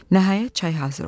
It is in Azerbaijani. Nəhayət, çay hazır oldu.